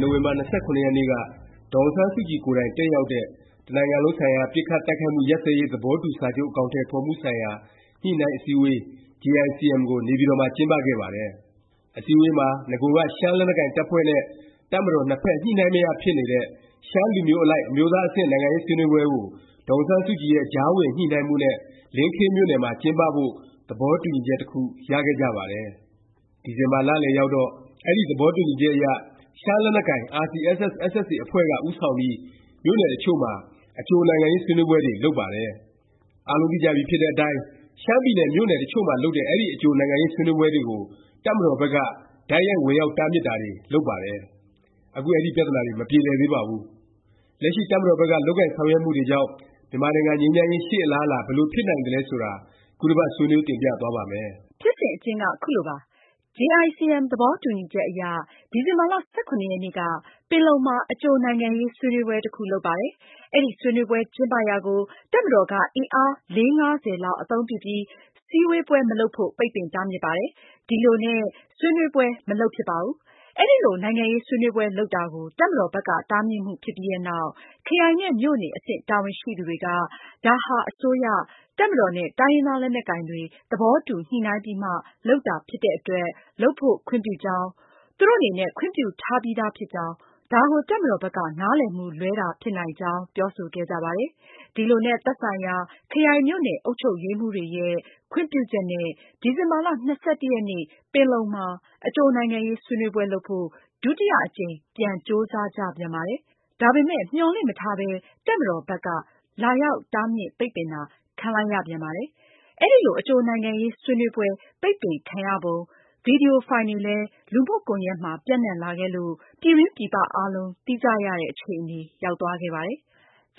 နိုဝင်ဘာ ၂၇ ရက်နေ့က ဒေါ်အောင်ဆန်းစုကြည် ကိုယ်တိုင် တက်ရောက်တဲ့ တ နိုင်ငံလုံးဆိုင်ရာ ပစ်ခတ်တိုက်ခိုက်မှု ရပ်စဲရေး သဘောတူစာချုပ် အကောင် အထည်ဖော်မှု ဆိုင်ရာ ညှိနှိုင်းအစည်းအဝေး JICM ကို နေပြည်တော်မှာ ကျင်းပခဲ့ပါတယ်။ အစည်းအဝေးမှာ နဂိုက ရှမ်းလက်နက်ကိုင် တပ်ဖွဲ့နဲ့ တပ်မတော် နှစ်ဖက် ညှိနှိုင်းမရ ဖြစ်နေခဲ့တဲ့ ရှမ်းလူမျိုးအလိုက် အမျိုးသား အဆင့် နိုင်ငံရေး ဆွေးနွေးပွဲကို ဒေါ်အောင်ဆန်းစုကြည်ရဲ့ ကြားဝင် ညှိနှိုင်းမှုနဲ့ လင်းခေး မြို့နယ်မှာ ကျင်းပဖို့ သဘောတူညီချက် တစ်ခု ရခဲ့ကြပါတယ်။ ဒီဇင်ဘာလလယ်ရောက်တော့ အဲဒီ သဘောတူညီချက်အရ ရှမ်းလက်နက်ကိုင် RCSS/SSA အဖွဲ့က ဦးဆောင်ပြီး မြို့နယ် တချို့မှာ အကြိုနိုင်ငံရေး ဆွေးနွေးပွဲတွေ လုပ်ပါတယ်။ အားလုံးသိကြပြီဖြစ်တဲ့ အတိုင်း ရှမ်းပြည်နယ် မြို့နယ် တချို့မှာ လုပ်တဲ့ အဲဒီ အကြိုနိုင်ငံရေး ဆွေးနွေးပွဲတွေကို တပ်မတော်ဘက်က တိုက်ရိုက် ဝင်ရောက်တားမြစ်တာတွေ လုပ်ပါတယ်။ အခု အဲဒီ ပြသနာတွေ မပြေလည်သေးပါဘူး။ လက်ရှိ တပ်မတော်ဘက်က လုပ်ကိုင်ဆောင် ရွက်မှုတွေကြောင့် မြန်မာနိုင်ငံ ငြိမ်းချမ်းရေး ရှေ့အလားအလာ ဘယ်လို ဖြစ်နိုင်သလဲ ဆိုတာ ခုတစ်ပတ် ဆွေးနွေးတင်ပြသွားပါ့မယ်။ ဖြစ်စဉ် အကျဉ်းက ခုလိုပါ။ JICM သဘောတူညီချက်အရ ဒီဇင်ဘာ ၁၇ ရက်နေ့က ပင်လုံမှာ အကြိုနိုင်ငံရေး ဆွေးနွေးပွဲ တစ်ခု လုပ်ပါတယ်။ အဲဒီဆွေးနွေးပွဲ ကျင်းပရာကို တပ်မတော်က အင်အား လေးငါးဆယ် လောက် အသုံးပြုပြီး စည်းဝေးပွဲ မလုပ်ဖို့ ပိတ်ပင်တားမြစ်ပါတယ်။ ဒီလိုနဲ့ ဆွေးနွေးပွဲ မလုပ်ဖြစ်ပါဘူး။ အဲလို နိုင်ငံရေး ဆွေးနွေးပွဲလုပ်တာကို တပ်မတော်ဘက်က တားမြစ်မှု ဖြစ်ပြီးနောက် ခရိုင်နဲ့ မြို့နယ် အဆင့် တာဝန်ရှိသူတွေက ဒါဟာ အစိုးရ၊ တပ်မတော်နဲ့ တိုင်းရင်းသား လက်နက်ကိုင်တွေ သဘောတူ ညှိနှိုင်းပြီးမှ လုပ်တာဖြစ်တဲ့အတွက် လုပ်ဖို့ ခွင့်ပြုကြောင်း၊ သူတို့ အနေနဲ့ ခွင့်ပြုထားပြီးသား ဖြစ်ကြောင်း ၊ ဒါကို တပ်မတော်ဘက်က နားလည်မှု လွဲတာ ဖြစ်နိုင်ကြောင်း ပြောဆိုခဲ့ကြပါတယ်။ ဒီလိုနဲ့ သက်ဆိုင်ရာ ခရိုင်၊ မြို့နယ် အုပ်ချုပ်ရေးမှူးတွေရဲ့ ခွင့်ပြုချက်နဲ့ ဒီဇင်ဘာ ၂၁ ရက်နေ့ ပင်လုံမှာ အကြိုနိုင်ငံရေး ဆွေးနွေးပွဲလုပ်ဖို့ ဒုတိယ အကြိမ် ပြန် ကြိုးစားကြပြန်ပါတယ်။ ဒါပေမယ့် မျှော်လင့်မထားပါပဲ တပ်မတော်ဘက်က ဒုတိယ အကြိမ် လာရောက် တားမြစ် ပိတ်ပင်တာ ခံလိုက်ရပြန်ပါတယ်။ အဲဒီလို အကြိုနိုင်ငံရေးဆွေးနွေးပွဲ ပိတ်ပင်ခံရပုံ ဗီဒီယိုဖိုင်တွေလည်း လူမှုကွန်ယက်မှာ ပျံ့နှံ့လာခဲ့လို့ ပြည်တွင်းပြည်ပ အားလုံး သိကြရတဲ့ အခြေအနေ ရောက်သွားခဲ့ပါတယ်။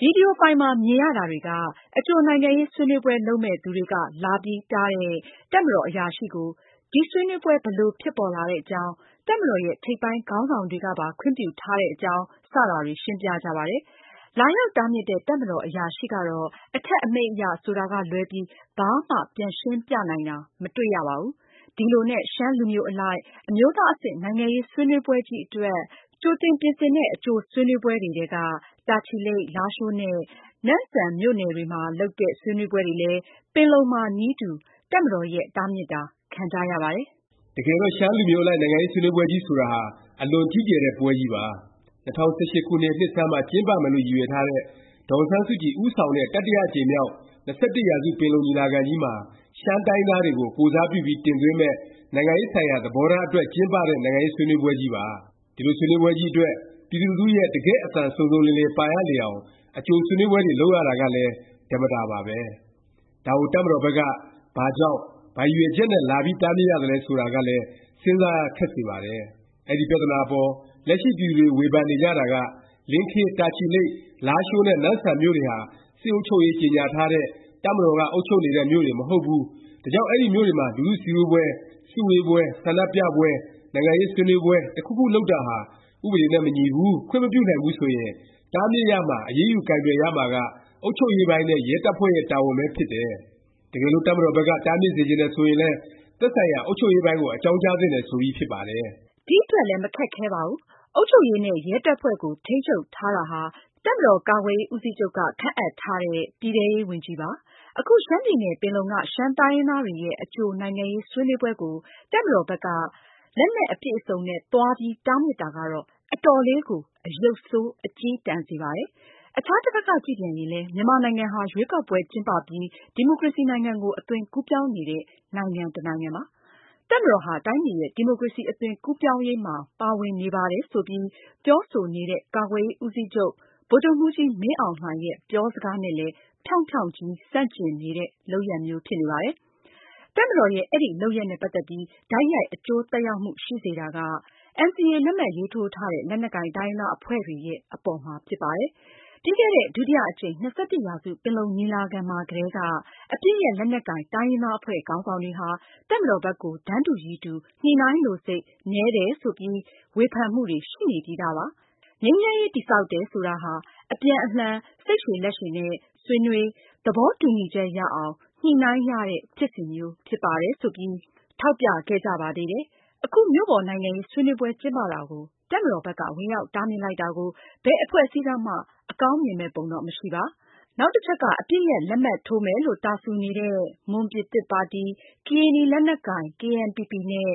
ဗီဒီယိုဖိုင်မှာ မြင်ရတာတွေက အကြိုနိုင်ငံရေး ဆွေးနွေးပွဲ လုပ်မယ့်သူတွေက လာပြီးတားတဲ့ တပ်မတော် အရာရှိကို ဒီဆွေးနွေးပွဲ ဘယ်လို ဖြစ်ပေါ်လာတဲ့အကြောင်း၊ တပ်မတော်ရဲ့ ထိပ်ပိုင်း ခေါင်းဆောင်တွေကပါ ခွင့်ပြုထားတဲ့အကြောင်း စတာတွေ ရှင်းပြကြပါတယ်။ လာရောက်တားမြစ်တဲ့ တပ်မတော် အရာရှိကတော့ အထက် အမိန့်အရ ဆိုတာကလွဲပြီး ဘာမှ ပြန်ရှင်းပြနိုင်တာ မတွေ့ရပါဘူး။ ဒီလိုနဲ့ ရှမ်းလူမျိုးအလိုက် အမျိုးသားအဆင့် နိုင်ငံရေး ဆွေးနွေးပွဲကြီး အတွက် ကြိုတင်ပြင်ဆင်တဲ့ အကြိုဆွေးနွေးပွဲတွေထဲက တာချီလိတ်၊ လားရှိုးနဲ့ နမ့်ဆန် မြို့နယ်တွေမှာ လုပ်တဲ့ ဆွေးနွေးပွဲတွေလည်း ပင်လုံမှာ နည်းတူ တပ်မတော်ရဲ့ တားမြစ်တာ ခံကြရပါတယ်။ တကယ်တော့ ရှမ်းလူမျိုးအလိုက် နိုင်ငံရေး ဆွေးနွေးပွဲကြီး ဆိုတာဟာ အလွန်ကြီးကျယ်တဲ့ ပွဲကြီးပါ။ ၂၀၁၈ ခုနှစ် နှစ်ဆန်းမှာ ကျင်းပမယ်လို့ ရည်ရွယ်ထားတဲ့ ဒေါ်အောင်ဆန်းစုကြည် ဦးဆောင်တဲ့ တတိယအကြိမ်မြောက် ၂၁ ရာစု ပင်လုံ ညီလာခံကြီးမှာ ရှမ်းတိုင်းရင်းသားတွေကို ကိုယ်စားပြုပြီး တင်သွင်းမယ့် နိုင်ငံရေးဆိုင်ရာ သဘောထားအတွက် ကျင်းပတဲ့ နိုင်ငံရေးဆွေးနွေးပွဲကြီးပါ။ ဒီလို ဆွေးနွေးပွဲကြီးအတွက် ပြည်သူလူထုရဲ့ တကယ့် အသံ စုံစုံလင်လင် ပါရလေအောင် အကြိုဆွေးနွေးပွဲတွေ လုပ်ရတာကလည်း ဓမ္မတာပါပဲ။ ဒါကို တပ်မတော်ဘက်က ဘာကြောင့်၊ ဘာရည်ရွယ်ချက်နဲ့ လာပြီးတားမြစ်ရတာလဲ ဆိုတာကလည်း စဉ်းစားရ ခက်ပါတယ်။ အဲဒီ ပြသနာအပေါ်လက်ရှိ ပြည်သူတွေ ဝေဖန်နေကြတာက လင်းခေး၊ တာချီလိတ်၊ လားရှိုးနဲ့နမ့်ဆန် မြို့တွေဟာ စစ်အုပ်ချုပ်ရေး ကြေငြာထားတဲ့၊ တပ်မတော်က အုပ်ချုပ်နေတဲ့ မြို့တွေ မဟုတ်ဘူး၊ ဒါကြောင့် အဲဒီမြို့တွေမှာ လူထုစည်းဝေးပွဲ၊ စုဝေးပွဲ၊ ဆန္ဒပြပွဲ၊ နိုင်ငံရေး ဆွေးနွေးပွဲ တစ်ခုခုလုပ်တာဟာ ဥပဒေနဲ့ မညီဘူး၊ ခွင့်မပြုနိုင်ဘူးဆိုရင် တားမြစ်ရမှာ အရေးယူ ကိုင်တွယ်ရမှာက အုပ်ချုပ်ရေးပိုင်းနဲ့ ရဲတပ်ဖွဲ့ရဲ့ တာဝန်ပဲ ဖြစ်တယ်၊ တကယ်လို့ တပ်မတော်ဘက်က တားမြစ်စေချင်တယ် ဆိုရင်လည်း သက်ဆိုင်ရာ အုပ်ချုပ်ရေးပိုင်းကို အကြောင်းကြားသင့်တယ် ဆိုပြီး ဖြစ်ပါတယ်။ ဒီအတွက်လည်း မခက်ခဲပါဘူး။ အုပ်ချုပ်ရေးနဲ့ ရဲတပ်ဖွဲ့ကို ထိန်းချုပ်ထားတာာ တပ်မတော်ကာကွယ်ရေး ဦးစီးချုပ်က ခန့်အပ်ထားတဲ့ ပြည်ထဲရေးဝန်ကြီးပါ။ အခု ရှမ်းပြည်နယ် ပင်လုံက ရှမ်းတိုင်းရင်းသားတွေရဲ့ အကြိုနိုင်ငံရေးဆွေးနွေးပွဲကို တပ်မတော်ဘက်က လက်နက်အပြည့်အစုံနဲ့ သွားပြီး တားမြစ်တာကတော့ အတော်လေးကို အရုပ်ဆိုး အကျည်းတန်စေပါတယ်။ အခြားတစ်ဖက်က ကြည့်ပြန်ရင်လည်း မြန်မာနိုင်ငံဟာ ရွေးကောက်ပွဲ ကျင်းပပြီး ဒီမိုကရေစီနိုင်ငံကို အသွင်ကူးပြောင်းနေတဲ့ နိုင်ငံ တစ်နိုင်ငံပါ၊ တပ်မတော်ဟာ တိုင်းပြည်ရဲ့ ဒီမိုကရေစီ အသွင်ကူးပြောင်းရေးမှာ ပါဝင်နေပါတယ် ဆိုပြီး ပြောဆိုနေတဲ့ ကာကွယ်ရေး ဦးစီးချုပ် ဗိုလ်ချုပ်မှူးကြီး မင်းအောင်လှိုင်ရဲ့ ပြောစကားနဲ့လည်း ဖြောင့်ဖြောင့်ကြီး ဆန့်ကျင်နေတဲ့ လုပ်ရပ်မျိုး ဖြစ်နေပါတယ်။ တပ်မတော်ရဲ့ အဲဒီ လုပ်ရပ်နဲ့ ပတ်သက်ပြီး တိုက်ရိုက် အကျိုးသက်ရောက်မှု ရှိစေတာက NCA လက်မှတ်ရေးထိုးထားတဲ့ လက်နက်ကိုင် တိုင်းရင်းသား အဖွဲ့တွေရဲ့ အပေါ်မှာ ဖြစ်ပါတယ်။ ပြီးခဲ့တဲ့ ဒုတိယအကြိမ် ၂၁ ရာစု ပင်လုံညီလာခံမှာကတည်းက အပစ်ရပ် လက်နက်ကိုင် တိုင်းရင်းသား အဖွဲ့ခေါင်းဆောင်တွေဟာ တပ်မတော်ဘက်ကို တန်းတူရည်တူ ညှိနှိုင်းလိုစိတ် နည်းတယ် ဆိုပြီး ဝေဖန်မှုတွေ ရှိနေပြီးသားပါ။ ငြိမ်းချမ်းရေး တည်ဆောက်တယ် ဆိုတာဟာ အပြန်အလှန် စိတ်လက်ရှည်ရှည်နဲ့ ဆွေးနွေး၊ သဘောတူညီချက်ရအောင် ညှိနှိုင်းရတဲ့ ဖြစ်စဉ်မျိုး ဖြစ်ပါတယ် ဆိုပြီး ထောက်ပြခဲ့ကြပါသေးတယ်။ အခု မြို့ပေါ်နိုင်ငံရေး ဆွေးနွေးပွဲ ကျင်းပတာကို တပ်မတော်ဘက်က ဝင်ရောက်တားမြစ်လိုက်တာကို ဘယ် အဖွဲ့အစည်းကမှ အကောင်းမြင့်မယ့် ပုံတော့ မရှိပါ။ နောက်တစ်ချက်က အပစ်ရပ် လက်မှတ်ထိုးမယ်လို့ တာစူနေတဲ့ မွန်ပြည်သစ် ပါတီ၊ ကရင်နီ လက်နက်ကိုင် KNPP နဲ့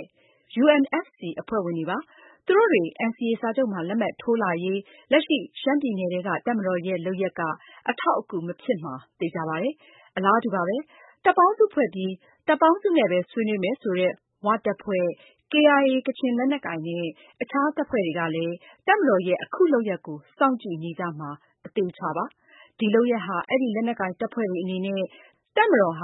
UNFC အဖွဲ့ဝင်တွေပါ။ သူတို့တွေ NCA စာချုပ်မှာ လက်မှတ်ထိုးလာရေး လက်ရှိ ရှမ်းပြည်နယ်ထဲက တပ်မတော်ရဲ့ လုပ်ရပ်က အထောက်အကူ မဖြစ်မှာ သေခြာပါတယ်။ အလားတူပါပဲ။ တပ်ပေါင်းစုဖွဲ့ပြီး တပ်ပေါင်းစုနဲ့ပဲ ဆွေးနွေးမယ် ဆိုတဲ့ ဝတပ်ဖွဲ့၊ KIA ကချင်လက်နက်ကိုင် နဲ့ အခြား တပ်ဖွဲ့တွေကလည်း တပ်မတော်ရဲ့ အခု လုပ်ရပ်ကို စောင့်ကြည့်နေကြမှာ အသေအခြာပါ။ ဒီ လုပ်ရပ်ဟာ အဲဒီ လက်နက်ကိုင် တပ်ဖွဲ့တွေအနေနဲ့ တပ်မတော်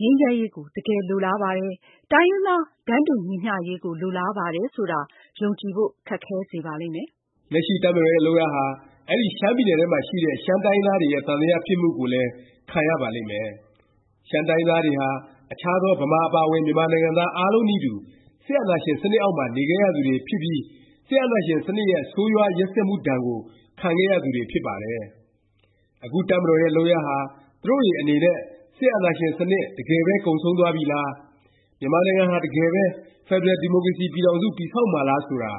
အနေနဲ့ ငြိမ်းချမ်းရေးကို တကယ်လိုလားပါတယ်၊ တိုင်းရင်းသား တန်းတူညီမျှရေးကို လိုလားပါတယ် ဆိုတာ ယုံကြည်ဖို့ ခက်ခဲစေပါလိမ့်မယ်။ လက်ရှိ တပ်မတော်ရဲ့ လုပ်ရပ်ဟာ အဲဒီ ရှမ်းပြည်နယ်ထဲမှာ ရှိတဲ့ ရှမ်းတိုင်းရင်းသားတွေရဲ့ သံသယဖြစ်မှုကို ခံရပါလိမ့်မယ်။ ရှမ်းတိုင်းရင်းသားတွေဟာ အခြားသော ဗမာ အပါအဝင် မြန်မာနိုင်ငံသားအားလုံးနည်းတူ စစ်အာဏာရှင်စနစ်အောက်မှာ နေခဲ့ရသူတွေဖြစ်ပြီး စစ်အာဏာရှင်စနစ်ရဲ့ ဆိုးရွားရက်စက်မှုဒါဏ်ကို ခံခဲ့ရသူတွေ ဖြစ်ပါတယ်။ အခု တပ်မတော်ရဲ့ လုပ်ရပ်ဟာ သူတို့တွေအနေနဲ့ စစ်အာဏာရှင် စနစ် တကယ်ပဲ ကုန်ဆုံးသွားပြီလား၊ မြန်မာနိုင်ငံဟာ တကယ်ပဲ ဖက်ဒရယ်ဒီမိုကရေစီ ပြည်ထောင်စု တည်ဆောက်မှာလား ဆိုတာ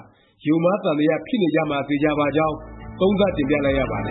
ယုံမှားသံသ ဖြစ်နေကြမှာ သေခြာပါကြောင်း သုံးသပ်တင်ပြလိုက်ရပါတ